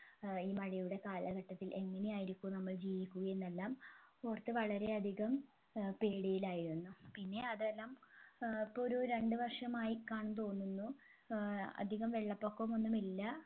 ഏർ ഈ മഴയുടെ കാലഘട്ടത്തിൽ എങ്ങനെയായിരിക്കും നമ്മൾ ജീവിക്കുക എന്നെല്ലാം ഓർത്ത് വളരെ അധികം ഏർ പേടിയിലായിരുന്നു പിന്നെ അതെല്ലാം ഏർ ഇപ്പൊ ഒരു രണ്ട് വർഷമായികാണുന്നു തോന്നുന്നു അധികം വെള്ളപൊക്കമൊന്നുമില്ല